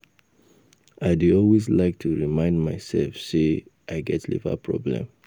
I dey always like to remind myself say I get liver problem